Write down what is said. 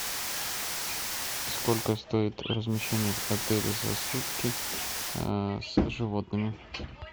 сколько стоит размещение в отеле за сутки с животными